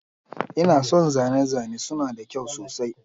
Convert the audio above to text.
Ina son zane-zane suna da kyau sosai.